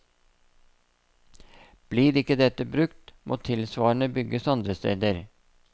Blir ikke dette brukt, må tilsvarende bygges andre steder.